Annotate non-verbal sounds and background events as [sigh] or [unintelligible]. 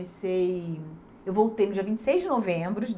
[unintelligible] Eu voltei no dia vinte e seis de novembro